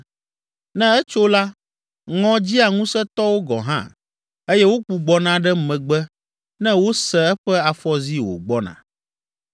Ne etso la, ŋɔ dzia ŋusẽtɔwo gɔ̃ hã eye wogbugbɔna ɖe megbe ne wose eƒe afɔzi wògbɔna.